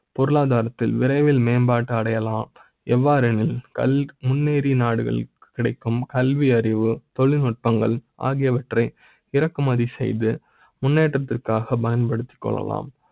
பொருளாதார த்தில் விரை வில் மேம்பாடு அடைய லாம் எவ்வாறு எனில் முன்னேறிய நாடுகள் கல்வி, அறிவு, தொழில்நுட்ப ங்கள் ஆகியவற்றை இறக்குமதி செய்து முன்னேற்றத்திற்காகப் பயன்படுத்திக் கொள்ளலாம்